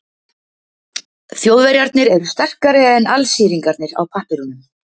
Þjóðverjarnir eru sterkari en Alsíringarnir á pappírunum.